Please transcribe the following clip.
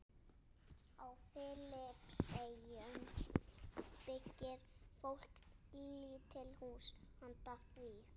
Á Filippseyjum byggir fólk lítil hús handa því.